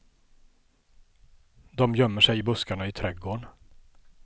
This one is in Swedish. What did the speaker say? De gömmer sig i buskarna i trädgården.